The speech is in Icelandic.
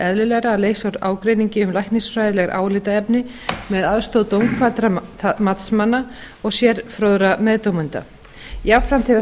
eðlilegra að leysa úr ágreiningi um læknisfræðileg álitaefni með aðstoð dómkvaddra matsmanna og sérfróðra meðdómenda jafnframt hefur